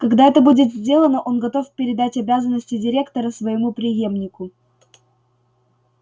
когда это будет сделано он готов передать обязанности директора своему преемнику